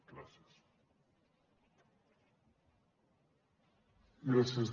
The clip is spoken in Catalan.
gràcies